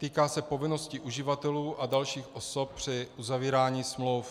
Týká se povinnosti uživatelů a dalších osob při uzavírání smluv.